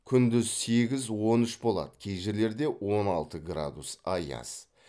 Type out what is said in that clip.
күндіз сегіз он үш болады кей жерлерде он алты градус аяз